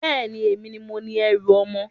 Bẹ́ẹ̀ni, èmi ni mo ni ẹrú ọmọ.